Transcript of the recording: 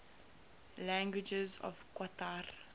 languages of qatar